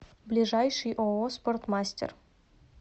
ближайший ооо спортмастер